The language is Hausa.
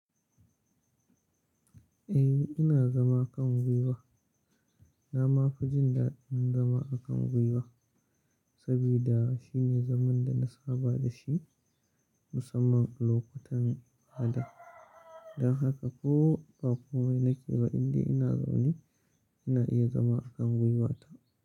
Eh ina zama a kan gwiwa. Na ma fi jin daɗin zama a kan gwiwa sabida shine zaman da na saba da shi musamman lokutan baya. Don haka ko ba komai na ke ba, indai ina zaune ina iya zama a kan gwiwata.